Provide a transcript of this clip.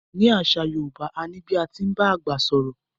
Ni àṣà Yorùbá,a ní bí a ti ń bá àgbà sọ̀rọ̀.